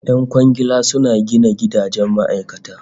Yan kwangila suna gina gidajen ma'aikata